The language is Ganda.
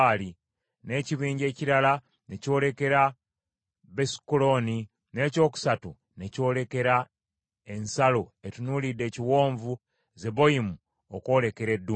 n’ekibinja ekirala ne kyolekera Besukolooni, n’ekyokusatu ne kyolekera ensalo etunuulidde ekiwonvu Zeboyimu okwolekera eddungu.